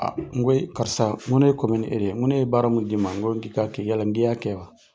Aa n ko e karisa n ko ne kome ni e de ye, n ko ne ye baara mun di ma n ko k'i ka kɛ yala ŋi ya kɛ wa?